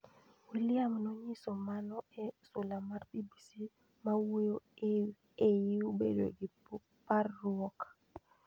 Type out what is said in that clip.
William nonyiso mano e sula mar BBC mawuoyo eiw bedo gi parruok.